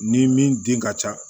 Ni min den ka ca